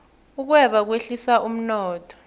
ukweba kwehlisa umnotho